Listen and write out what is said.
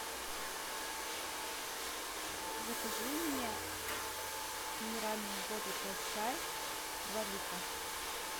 закажи мне минеральную воду тассай два литра